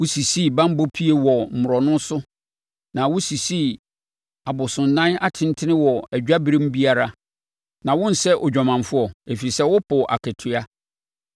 Wosisii banbɔ pie wɔ mmorɔno so na wosisii abosonnan atentene wɔ adwaberem biara, na wonsɛ odwamanfoɔ, ɛfiri sɛ wopoo akatua.